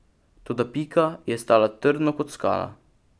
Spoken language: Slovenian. Toda Pika je stala trdno kot skala.